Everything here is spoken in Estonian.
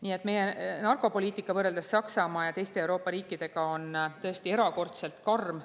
Nii et meie narkopoliitika on võrreldes Saksamaa ja teiste Euroopa riikidega tõesti erakordselt karm.